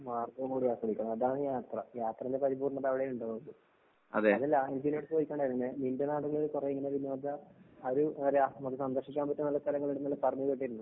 മാർഗ്ഗവും കൂടി ആസ്വദിക്കണം. അതാണ് യാത്ര. യാത്രേന്റെ പരിപൂർണ്ണത അവടെയാണിണ്ടാവുന്നത്. അന്ന് ലാഹിദിന്റടുത്ത് ചോദിച്ചിട്ടുണ്ടാർന്ന് നിന്റെ നാട്ടില് കൊറേ ഇങ്ങനെ വിനോദ ആ ഒരു നമുക്ക് സന്ദർശിക്കാൻ പറ്റിയ നല്ല സ്ഥലങ്ങള്ണ്ട്ന്നെല്ലാം പറഞ്ഞ് കേട്ടിരുന്നു.